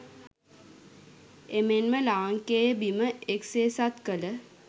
එමෙන්ම ලාංකේය බිම එක්සේසත් කළ